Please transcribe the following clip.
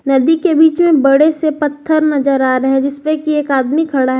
नदी के बीच में बड़े से पत्थर नजर आ रहे है जिसपे की एक आदमी खड़ा है।